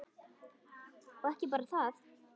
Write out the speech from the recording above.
Og ekki bara það: